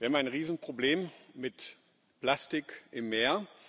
Wir haben ein Riesenproblem mit Plastik im Meer.